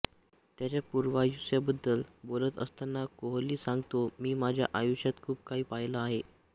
त्याच्या पूर्वायुष्याबद्दल बोलत असताना कोहली सांगतो मी माझ्या आयुष्यात खूप काही पाहिलं आहे